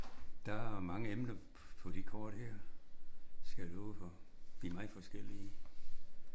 Der er mange emner på de kort her skal jeg love for. De er meget forskellige